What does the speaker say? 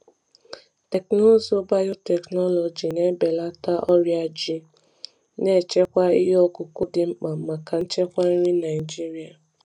Teknụzụ biotechnology na-ebelata ọrịa ji, na-echekwa ihe ọkụkụ dị mkpa maka nchekwa nri Naijiria.